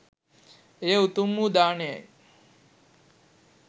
එය උතුම් වූ දානයයි